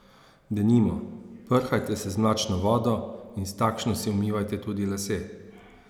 Denimo, prhajte se z mlačno vodo in s takšno si umivajte tudi lase.